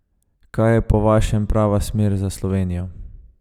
Kaj je po vašem prava smer za Slovenijo?